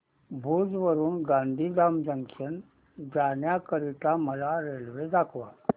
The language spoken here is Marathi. भुज वरून गांधीधाम जंक्शन जाण्या करीता मला रेल्वे दाखवा